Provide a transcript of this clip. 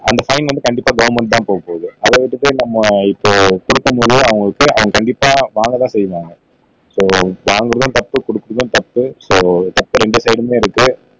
அந்த ஃபைன் வந்து கண்டிப்பா கவர்ன்மெண்ட்க்கு தான் போகப்போது அத விட்டுப்போட்டு நம்ம இப்போ குடுக்கணும்னு சொன்னா அவங்களுக்கு அத கண்டிப்பா வாங்க தான் செய்வாங்க சோ வாங்குறதும் தப்பு குடுக்குறதும் தப்பு சோ தப்பு இரண்டு ஸைடுமே இருக்கு